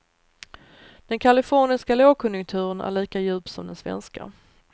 Den kaliforniska lågkonjunkturen är lika djup som den svenska.